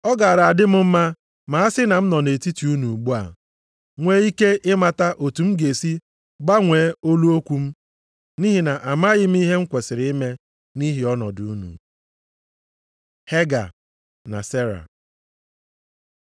Ọ gaara adị m mma ma a sị na m nọ nʼetiti unu ugbu a, nwee ike ịmata otu m ga-esi gbanwee olu okwu m, nʼihi na-amaghị m ihe m kwesiri ime nʼihi ọnọdụ unu. Hega na Sera